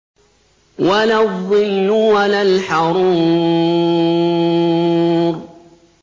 وَلَا الظِّلُّ وَلَا الْحَرُورُ